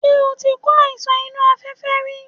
Ṣé o ti kó àìsàn inú afẹ́fẹ́ rí?